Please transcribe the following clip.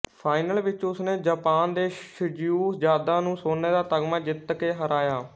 final ਵਿੱਚ ਉਸਨੇ Japan ਦੇ ਸ਼ਿਜ਼ੁਓ ਯਾਦਾ ਨੂੰ ਸੋਨੇ ਦਾ ਤਗਮਾ ਜਿੱਤ ਕੇ ਹਰਾਇਆ